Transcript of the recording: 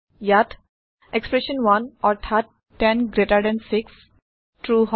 ইয়াত এক্সপ্ৰেচন 1 অৰ্থাৎ 10জিটি6 ট্ৰু হয়